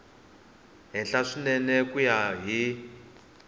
henhla swinene ku ya hi